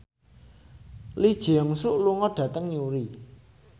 Lee Jeong Suk lunga dhateng Newry